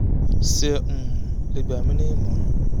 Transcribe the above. sé um lè gbà mi ní ìmọ̀ràn?